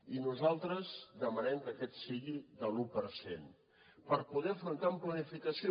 i nosaltres demanem que aquest sigui de l’un per cent per poder afrontar la planificació